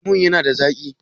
Lemon ya na da zaƙi?